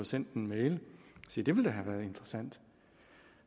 sendt en mail se det ville da have været interessant